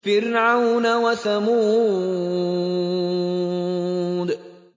فِرْعَوْنَ وَثَمُودَ